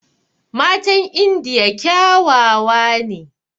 Matan indiya kyawawa ne